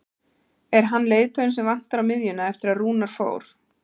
Er hann leiðtoginn sem vantar á miðjuna eftir að Rúnar fór?